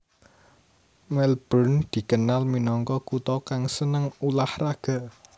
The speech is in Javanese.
Melbourne dikenal minangka kutha kang seneng ulah raga